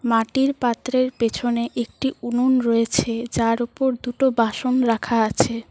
মাটির পাত্রের পেছনে একটি উনুন রয়েছে যার ওপর দুটো বাসন রাখা আছে।